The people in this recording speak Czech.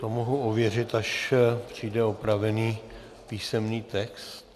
To mohu ověřit, až přijde opravený písemný text.